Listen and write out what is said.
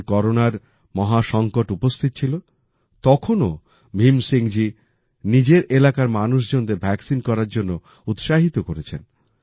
যখন করোনার মহা সংকট উপস্থিত ছিল তখন ও ভীমসিং জি নিজের এলাকার মানুষজনদের ভ্যাকসিন নেবার জন্য উৎসাহিত করেছেন